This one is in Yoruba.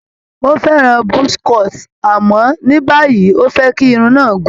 Ó fẹ́ràn buzz cut àmọ́ ní báyìí, ó fẹ́ kí irun náà gùn.